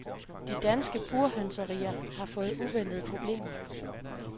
De danske burhønserier har fået uventede problemer.